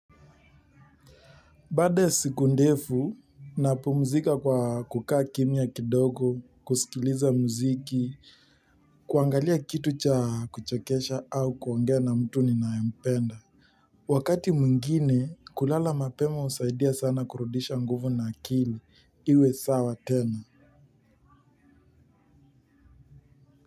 Baada ya siku ndefu, napumzika kwa kukaa kimya kidogo, kusikiliza muziki, kuangalia kitu cha kuchekesha au kuongea na mtu ninayempenda. Wakati mwingine, kulala mapema husaidia sana kurudisha nguvu na akili, iwe sawa tena.